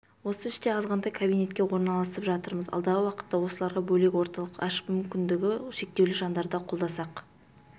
осы іште азғантай кабинетке орналасып жатырмыз алдағы уақытта осыларға бөлек орталық ашып мүмкіндігі шектеулі жандарды қолдасақ